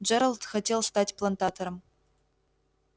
джералд хотел стать плантатором